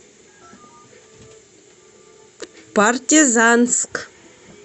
партизанск